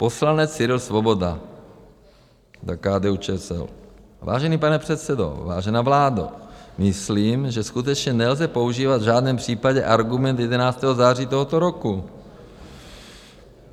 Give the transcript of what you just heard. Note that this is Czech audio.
Poslanec Cyril Svoboda za KDU-ČSL: Vážený pane předsedo, vážená vládo, myslím, že skutečně nelze používat v žádném případě argument 11. září tohoto roku.